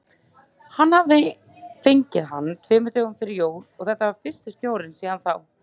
Hann hafði fengið hann tveimur dögum fyrir jól og þetta var fyrsti snjórinn síðan þá.